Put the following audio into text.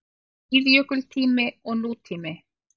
SÍÐJÖKULTÍMI OG NÚTÍMI